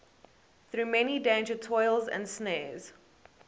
through many dangers toils and snares